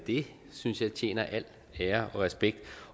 det synes jeg fortjener al ære og respekt